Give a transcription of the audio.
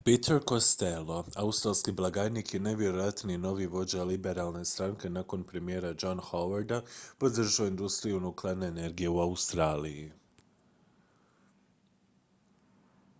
peter costello australski blagajnik i najvjerojatniji novi vođa liberalne stranke nakon premijera johna howarda podržao je industriju nuklearne energije u australiji